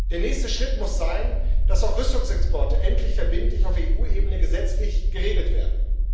Der nächste Schritt muss sein, dass auch Rüstungsexporte endlich verbindlich auf EU Ebene gesetzlich geregelt werden.